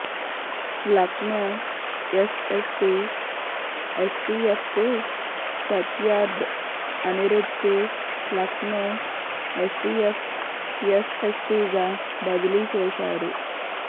Lucknow SSP ఎస్టీఎఫ్కు సత్యార్థ్ అనిరుధ్కు Lucknow STF ఎస్ఎస్పీగా బదిలీ చేశారు